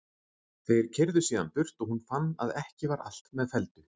Þeir keyrðu síðan burt og hún fann að ekki var allt með felldu.